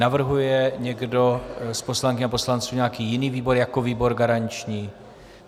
Navrhuje někdo z poslankyň a poslanců nějaký jiný výbor jako výbor garanční?